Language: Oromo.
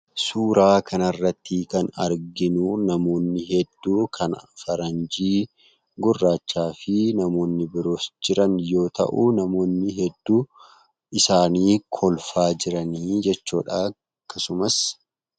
Suuraa kanarrattii kan arginu namoonni hedduu kan faranjii, gurraachaa fi namoonni biroos jiran yoo ta'u namoonni hedduu isaanii kolfaa jirani jechuudha akkasumas.